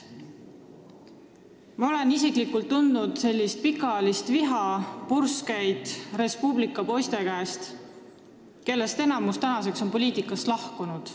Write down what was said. Ma olen isiklikult tundnud vihapurskeid Res Publica poiste poolt, kellest enamik on nüüd poliitikast lahkunud.